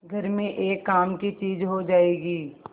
घर में एक काम की चीज हो जाएगी